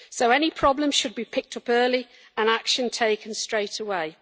Any problem should be picked up early and action taken straight away.